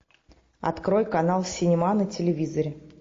открой канал синема на телевизоре